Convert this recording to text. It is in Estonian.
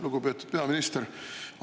Lugupeetud peaminister!